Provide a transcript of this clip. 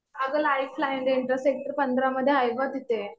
अगं lifeline inter sector पंधरा मध्ये आहे बघ तिथे.